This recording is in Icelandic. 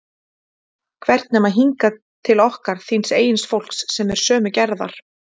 Hvert nema hingað, til okkar, þíns eigin fólks, sem er sömu gerðar?